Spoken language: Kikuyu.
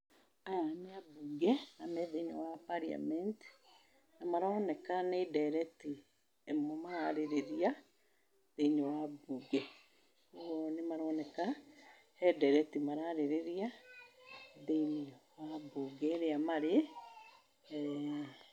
Aya nĩ ambunge na me thĩiniĩ wa parliament, nĩmaroneka nĩ ndereti imwe mararĩrĩria thĩiniĩ wa bunge. Ũguo nĩmaroneka he nderereti mararĩrĩria thĩiniĩ wa mbunge ĩrĩa marĩ,